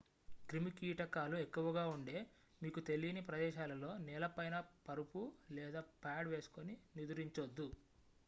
క్రిమి కీటకాలు ఎక్కువగా ఉండే మీకు తెలీని ప్రదేశాలలో నేలపైన పరుపు లేదా పాడ్ వేసుకొని నిదురించొద్దు